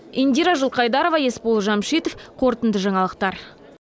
индира жылқайдарова есбол жәмшитов қорытынды жаңалықтар